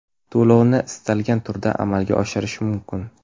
To‘lovni istalgan turda amalga oshirish mumkin.